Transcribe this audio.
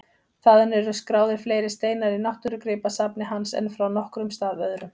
Þaðan eru skráðir fleiri steinar í náttúrugripasafni hans en frá nokkrum stað öðrum.